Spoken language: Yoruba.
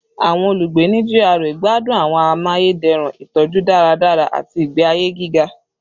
Awọn olugbe ni GRA gbadun awọn amayederun itọju daradara ati igbe aye giga